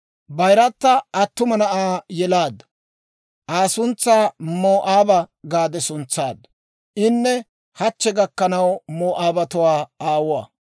Bayirata attuma na'aa yelaaddu; Aa suntsaa Moo'aaba gaade suntsaaddu; inne hachche gakkanaw Moo'aabatuwaa aawuwaa.